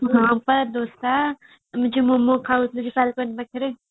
ହଁ ପା ଦୋସା ତୁ ଯୋଉ ମୋମୋ ଖାଉଥିଲୁ cycle ପାଖରେ